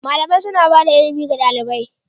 Malamai suna bada ilimi ga ɗalibai.